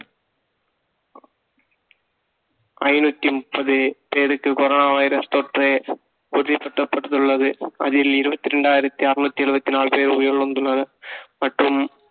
ஐநூத்தி முப்பது பேருக்கு corona வைரஸ் தொற்று உறுதிப்படுத்தப்பட்டுள்ளது அதில் இருபத்தி இரண்டாயிரத்தி அறுநூத்தி எழுபத்தி நாலு பேர் உயிரிழந்துள்ளனர் மற்றும்